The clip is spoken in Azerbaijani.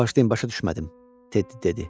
Bağışlayın, başa düşmədim, Teddi dedi.